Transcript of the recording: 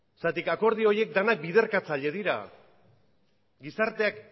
akordio horiek denak biderkatzaile dira gizarteak